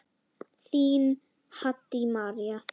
Þín, Haddý María.